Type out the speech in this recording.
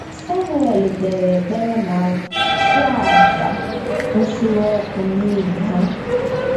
Samuel kpeere ekpere ma chụọ àjà nsure ọkụ n’ihi ha.